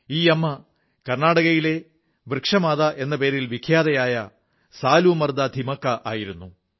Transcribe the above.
ഈ അമ്മ കർണ്ണാടകയിലെ വൃക്ഷമാതാ എന്ന പേരിൽ വിഖ്യാതയായ സാലൂമർദാ ഥിമക്കാ ആയിരുന്നു